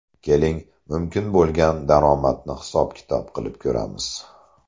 Keling, mumkin bo‘lgan daromadni hisob-kitob qilib ko‘ramiz!